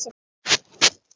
Hann er tómur.